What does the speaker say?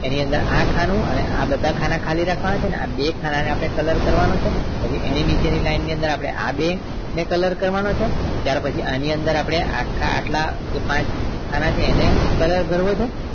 એની અંદર આ ખાનું આ બધા ખાલી રાખવાના છે અને આ બે ખાના ને color કરવાનો છે એની પછી ની line ની અંદર આ બે ને color કરવાનો છે ત્યાર પછી આપણે એટલા આખા ખાના છે એને color ભરવો છે